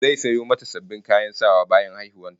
Zai sayo mata sabbin kayan sawa bayan haihuwar ta